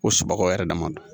Ko subagaw yɛrɛ dama don